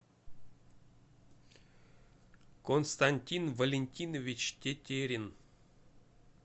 константин валентинович тетерин